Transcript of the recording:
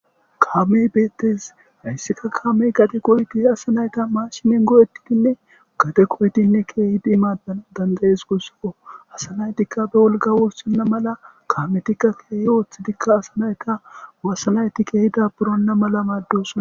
Kaamey bettes hayssika kaamey gadde goyyidi sa nati mashshinen go'ettidine gadde goyiddine kehiddi maddanasi danda'essiko gussuko asa naytika be wolqqa wurssona malla kaametika kehi oththidika asa naytta kehi daaburona malla maddossona.